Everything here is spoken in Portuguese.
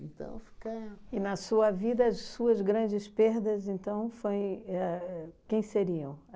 Então fica... E na sua vida, as suas grandes perdas, então, foi éh quem seriam?